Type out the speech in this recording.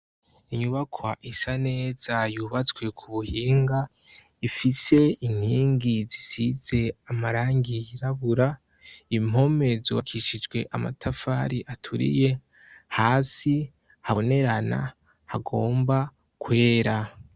Inyubaka isa neza yubatswe ku buhinga ifise inkingi zisize amarangi yirabura impome zubakishijwe amatafari aturiye hasi habonerana hagomba kwera.